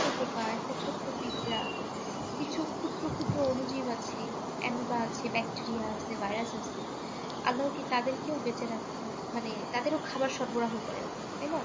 ছোট পোকা একটা ছোট্ট পিঁপড়া কিছু ক্ষুদ্র ক্ষুদ্র অনুজীব আছে অ্যামিবা আছে ব্যাকটেরিয়া আছে ভাইরাস আছে আল্লাহও কি তাদেরও কি বেঁচে উম মানে তাদেরও খাবার সরবরাহ করে তাই না?